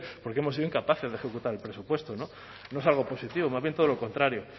porque hemos sido incapaces de ejecutar el presupuesto no es algo positivo más bien todo lo contrario